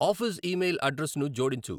office email అడ్రస్ను జోడించు